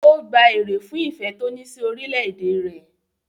Ó gba èrè fún ìfẹ́ tó ní sí orílẹ̀-èdè rẹ̀.